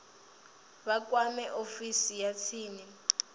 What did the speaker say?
vha kwame ofisi ya tsini